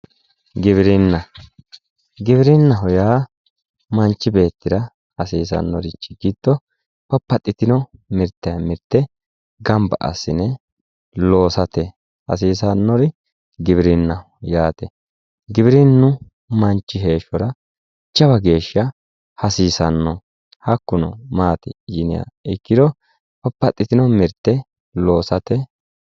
Giwirinnaho yaa manchi beettira hasiisannorichi giddo gobbate jiro mirtaamirte gamba assine loosate hasiisannori giwirinnaho yaate giwirinnu manchi beettira jawa geeshsh hasiisanno hakkuno maati yiniha ikkiro babbaxxitino mirte loosate